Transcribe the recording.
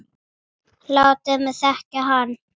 Látið mig þekkja hann